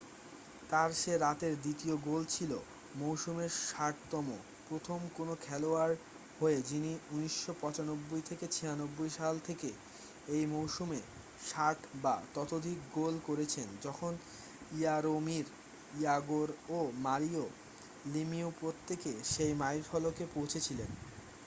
তার সে রাতের দ্বিতীয় গোল ছিল মৌসুমের 60তম প্রথম কোন খেলোয়াড় হয়ে যিনি 1995-96 সাল থেকে একই মৌসুমে 60 বা ততোধিক গোল করেছেন যখন ইয়ারোমির ইয়াগোর ও মারিও লেমিউ প্রত্যেকে সেই মাইলফলকে পৌঁছেছিলেন